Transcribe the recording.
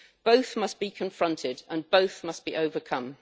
Both must be confronted and both must be overcome.